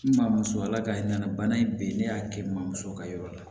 N maa muso ala ka hinɛ bana in bɛ yen ne y'a kɛ n mamuso ka yɔrɔ la